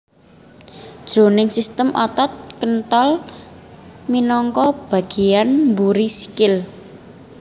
Jroning sistem otot kéntol minangka bagéyan mburi sikil